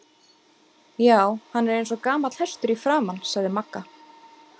Já, hann er eins og gamall hestur í framan sagði Magga.